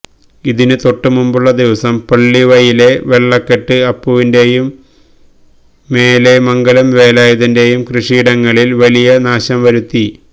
ഇതിന് തൊട്ടുമുമ്പുള്ള ദിവസം പള്ളിവയലിലെ വെള്ളക്കെട്ട് അപ്പുവിന്റെയും മേലെമംഗലം വേലായുധന്റെയും കൃഷിയിടങ്ങളിൽ വലിയ നാശംവരുത്തി